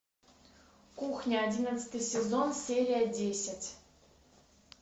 кухня одиннадцатый сезон серия десять